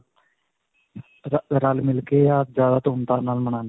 ਰਰ ਰਲ-ਮਿਲ ਕੇ ਜਿਆਦਾ ਧੂਮ-ਧਾਮ ਨਾਲ ਮਨਾਉਂਦੇ ਨੇ.